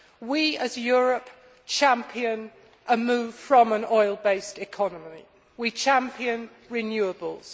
We, as Europe, champion a move from an oil based economy and we champion renewables.